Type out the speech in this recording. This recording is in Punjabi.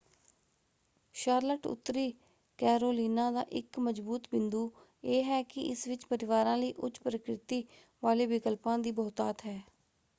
ਸ਼ਾਰਲਟ ਉੱਤਰੀ ਕੈਰੋਲੀਨਾ ਦਾ ਇੱਕ ਮਜਬੂਤ ਬਿੰਦੂ ਇਹ ਹੈ ਕਿ ਇਸ ਵਿੱਚ ਪਰਿਵਾਰਾਂ ਲਈ ਉੱਚ-ਪ੍ਰਕਿਰਤੀ ਵਾਲੇ ਵਿਕਲਪਾਂ ਦੀ ਬਹੁਤਾਤ ਹੈ।